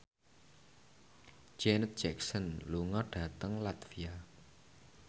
Janet Jackson lunga dhateng latvia